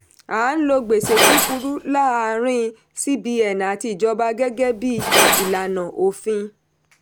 a ń lo gbèsè kukuru láàárin cbn àti ìjọba gẹ́gẹ́ bí ìlànà òfin.